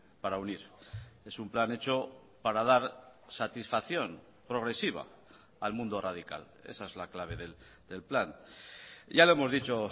para unir es un plan hecho para dar satisfacción progresiva al mundo radical esa es la clave del plan ya lo hemos dicho